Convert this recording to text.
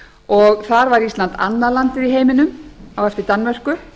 og þar var ísland annað landið í heiminum á eftir danmörku